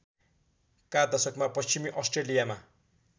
का दशकमा पश्चिमी अस्ट्रेलियामा